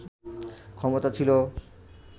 ক্ষমতা ছিল